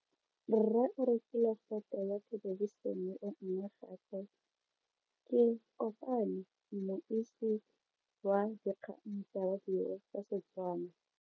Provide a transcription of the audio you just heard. Rre o rekile sete ya thelebišene e nngwe gape. Ke kopane mmuisi w dikgang tsa radio tsa Setswana.